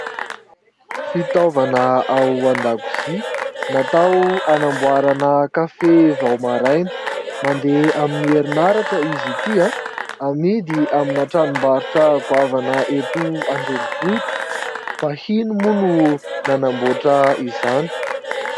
Fitaovana ao an-dakozia. Natao hanamboarana kafe vao maraina. Mandeha amin'ny herinaratra izy ity. Amidy amina tranom-barotra goavana eto andrenivohitra. Vahiny moa no nanamboatra izany.